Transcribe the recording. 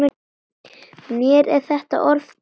Mér er þetta orð tamt.